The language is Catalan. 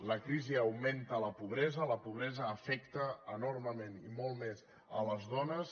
la crisi augmenta la pobresa la pobresa afecta enormement i molt més les dones